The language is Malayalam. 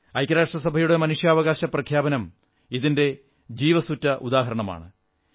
ഐക്യ രാഷ്ട്രസഭയുടെ മനുഷ്യാവകാശ പ്രഖ്യാപനം ഇതിന്റെ ജീവസ്സുറ്റ ഉദാഹരണമാണ്